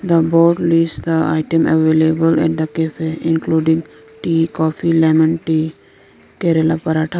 The board list the item available in the cafe including tea coffee lemon tea kerala paratha.